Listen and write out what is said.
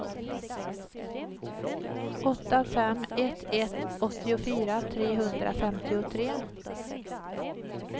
åtta fem ett ett åttiofyra trehundrafemtiotre